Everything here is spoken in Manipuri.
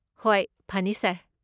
ꯍꯣꯏ, ꯐꯅꯤ, ꯁꯥꯔ꯫